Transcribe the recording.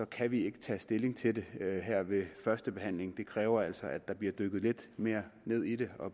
kan vi ikke tage stilling til det her ved første behandling det kræver altså at der bliver dykket lidt mere ned i det og